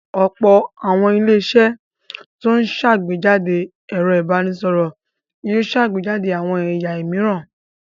Ọ̀pọ̀ àwọn ilé-iṣẹ́ tó ń ṣàgbéjáde ẹ̀rọ ìbanisọ̀rọ̀ yóò ṣàgbéjáde àwọn ẹ̀ya òmíràn.